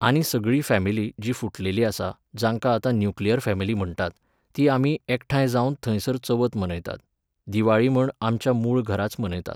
आनी सगळीं फॅमिली, जी फुटलेली आसा, जांकां आतां न्युक्लियर फॅमिली म्हणटात, ते आमी एकठांय जावन थंयसर चवथ मनयतात. दिवाळी म्हण आमच्या मूळ घराच मनयतात.